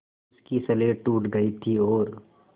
उसकी स्लेट टूट गई थी और